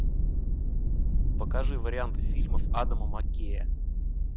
покажи варианты фильмов адама маккея